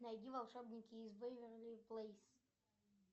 найди волшебники из вэйверли плэйс